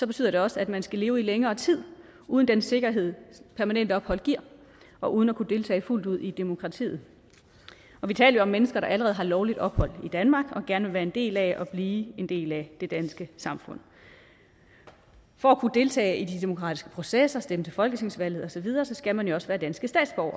betyder det også at man skal leve i længere tid uden den sikkerhed permanent ophold giver og uden at kunne deltage fuldt ud i demokratiet og vi taler mennesker der allerede har lovligt ophold i danmark og gerne vil være en del af og blive en del af det danske samfund for at kunne deltage i de demokratiske processer stemme til folketingsvalget og så videre skal man jo også være dansk